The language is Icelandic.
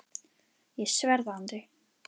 Ég sver það Andri.